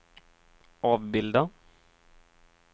avbilda